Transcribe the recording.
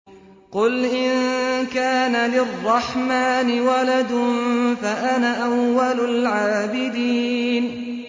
قُلْ إِن كَانَ لِلرَّحْمَٰنِ وَلَدٌ فَأَنَا أَوَّلُ الْعَابِدِينَ